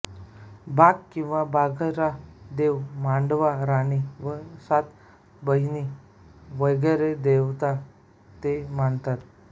बाघ किंवा बाघरा देव मांडवा रानी व सात बहिणी वगैरे देवता ते मानतात